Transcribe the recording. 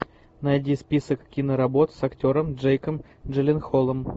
найди список киноработ с актером джейком джилленхолом